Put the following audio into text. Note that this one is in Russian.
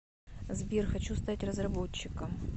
сбер хочу стать разработчиком